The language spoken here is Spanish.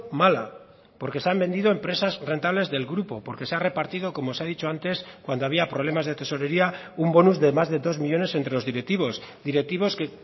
mala porque se han vendido empresas rentables del grupo porque se ha repartido como se ha dicho antes cuando había problemas de tesorería un bonus de más de dos millónes entre los directivos directivos que